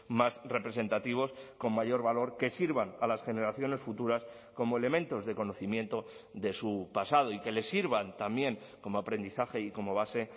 más representativos con mayor valor que sirvan a las generaciones futuras como elementos de conocimiento de su pasado y que les sirvan también como aprendizaje y como base